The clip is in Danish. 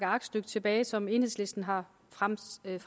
aktstykke tilbage som enhedslisten har fremsat